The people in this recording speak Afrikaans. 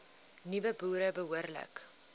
nuwe boere behoorlik